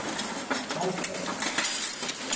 Ásberg